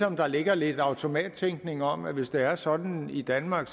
om der ligger lidt automattænkning om at hvis det er sådan i danmark